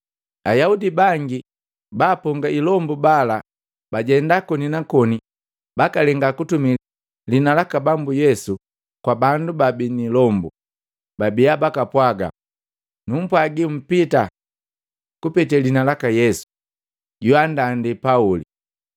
Ayaudi bangi baaponga ilombu bala bajenda koni na koni bakalenga kutumi lihina laka Bambu Yesu kwa bandu bababii ni ilombu. Babiya bakapwaga, “Numpwagi mpita kupete liina laka Yesu joanndandi Pauli.”